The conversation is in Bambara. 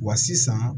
Wa sisan